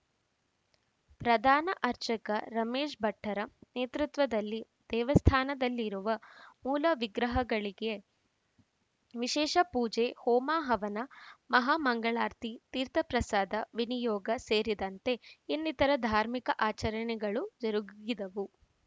ಪ್ರಧಾನ ಅರ್ಚಕ ರಮೇಶ್‌ ಭಟ್ಟರ ನೇತೃತ್ವದಲ್ಲಿ ದೇವಸ್ಥಾನದಲ್ಲಿರುವ ಮೂಲವಿಗ್ರಹಗಳಿಗೆ ವಿಶೇಷ ಪೂಜೆ ಹೋಮಹವನ ಮಹಾ ಮಂಗಳಾರತಿ ತೀರ್ಥಪ್ರಸಾದ ವಿನಿಯೋಗ ಸೇರಿದಂತೆ ಇನ್ನಿತರ ಧಾರ್ಮಿಕ ಆಚರಣೆಗಳು ಜರುಗಿದವು